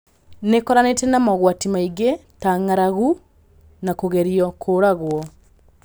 Nĩkoranĩte na mogwati maingĩ ta ng'arangu na kũgerio kũragwo